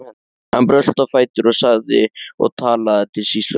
Hann brölti á fætur og sagði og talaði til sýslumanns